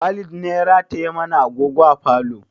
Walid ne ya rataye mana agogo a falo